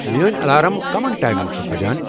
میٲنۍ الارام کٔمَن ٹایمن چِھ بجن ؟